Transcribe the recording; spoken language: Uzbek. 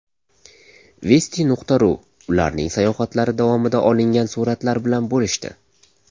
Vesti.ru ularning sayohatlari davomida olingan suratlar bilan bo‘lishdi .